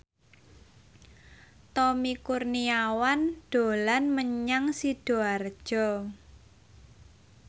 Tommy Kurniawan dolan menyang Sidoarjo